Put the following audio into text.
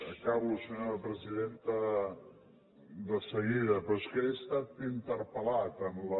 acabo senyora presidenta de seguida però és que he estat interpel·lat en la